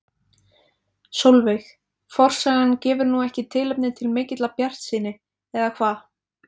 Sólveig: Forsagan gefur nú ekki tilefni til mikillar bjartsýni eða hvað?